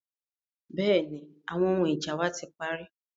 Bẹ́ẹ̀ni, àwọn ohun ija wa ti pari.